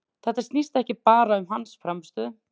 Þetta snýst ekki bara um hans frammistöðu.